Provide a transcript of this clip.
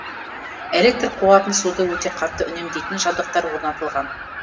электр қуатын суды өте қатты үнемдейтін жабдықтар орнатылған